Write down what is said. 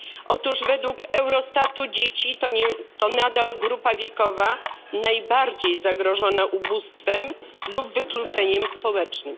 Otóż według Eurostatu dzieci to nadal grupa wiekowa najbardziej zagrożona ubóstwem lub wykluczeniem społecznym.